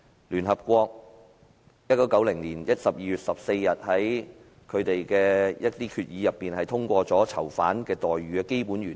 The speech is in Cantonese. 聯合國1990年12月14日在決議中通過囚犯待遇的基本原則。